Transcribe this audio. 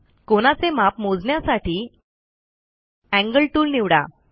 कोनाचे माप मोजण्यासाठी एंगल टूल निवडा